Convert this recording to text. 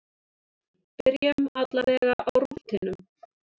Byrjum allavega á rúntinum.